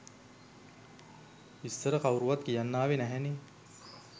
ඉස්‌සර කවුරුවත් කියන්න ආවේ නැහැනේ.